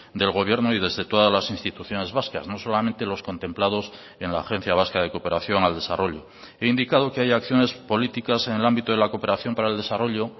del gobierno y desde todas las instituciones vascas no solamente los contemplados en la agencia vasca de cooperación al desarrollo he indicado que hay acciones políticas en el ámbito de la cooperación para el desarrollo